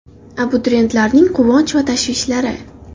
Abituriyentlarning quvonch va tashvishlari.